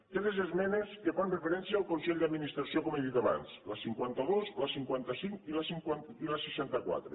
tres esmenes que fan referència al consell d’administració com he dit abans la cinquanta dos la cinquanta cinc i la seixanta quatre